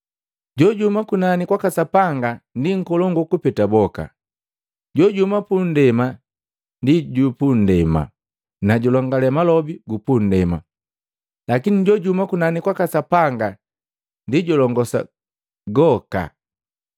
Jojuhuma kunani kwaka Sapanga ndi nkolongu kupeta boka. Jojuhuma pundema ndi jupundema, na julongale malobi gupundema. Lakini jojuhuma kunani kwaka Sapanga ndi julongosa gooka.